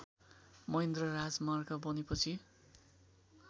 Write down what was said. महेन्द्र राजमार्ग बनेपछि